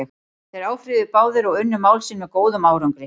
Þeir áfrýjuðu báðir og unnu mál sín með góðum árangri.